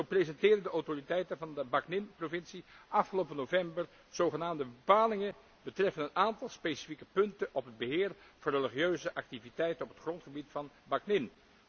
Zo presenteerden de autoriteiten van de provincie Bắc Ninh afgelopen november zogenaamde bepalingen betreffende een aantal specifieke punten op het beheer van religieuze activiteiten op het grondgebied van Bắc Ninh.